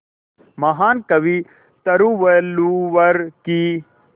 महान कवि तिरुवल्लुवर की